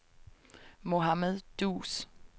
Mohamed Duus